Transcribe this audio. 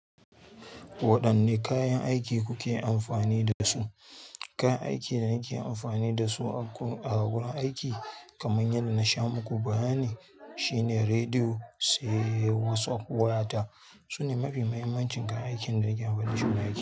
Waɗanne kayan aiki kuke amfani da su? Kayan aikin da nake amfani da su a wurin aiki, kamar yadda na sha muku bayani, shine rediyo, sai WhatsApp waya ta. Su ne mafi muhimmancin kayan aikin da nake amfani da su wurin aiki.